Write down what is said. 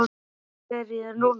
Hvaða rugl er í þér núna?